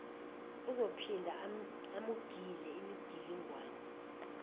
uzophinda amugile imigilingwane